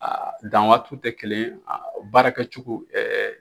Aa dan waatiw tɛ kelen, aa baarakɛ cogo ɛɛ